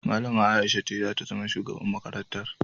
Malama Aisha ce zata zama shugaban makarantar